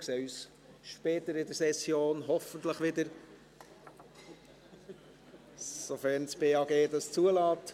Wir sehen uns später in der Session hoffentlich wieder, sofern das Bundesamt für Gesundheit (BAG) dies zulässt.